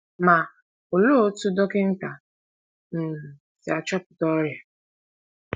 Ma, olee otú dọkịta um si achọpụta ọrịa?